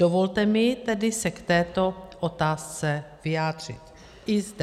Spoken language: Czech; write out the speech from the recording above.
Dovolte mi tedy se k této otázce vyjádřit i zde.